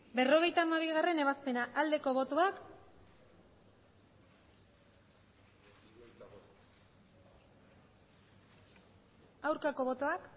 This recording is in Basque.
berrogeita hamabigarrena ebazpena aldeko botoak aurkako botoak